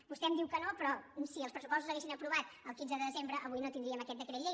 vostè em diu que no però si els pressupostos s’ha·guessin aprovat el quinze de desembre avui no tindríem aquest decret llei